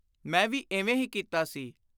ਮੈਂ ਵੀ ਇਵੇਂ ਹੀ ਕੀਤਾ ਸੀ।